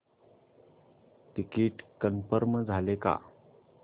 ticket confirm झाले का